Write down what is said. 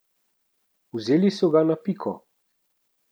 Vzeli so ga na piko.